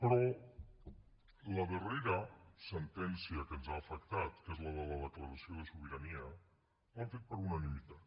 però la darrera sentència que ens ha afectat que és la de la declaració de sobirania l’han fet per unanimitat